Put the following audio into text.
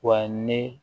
Wa ne